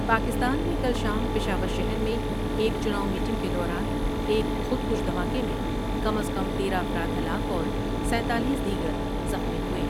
پاکستان میں کل شام پشاور شہر میں ایک چناؤ میٹنگ کے دوران ایک خود کش دھماکے میں کم از کم تیرہ افراد ہلاک اور سینتالیس دیگرزخمی ہوئے ۔